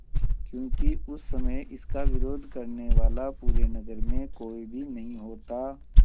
क्योंकि उस समय इसका विरोध करने वाला पूरे नगर में कोई भी नहीं होता